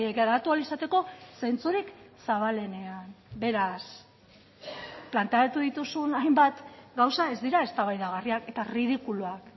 garatu ahal izateko zentzurik zabalenean beraz planteatu dituzun hainbat gauza ez dira eztabaidagarriak eta ridikuluak